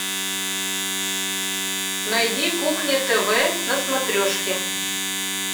найди кухня тв на смотрешке